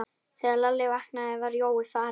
Þegar Lalli vaknaði var Jói farinn.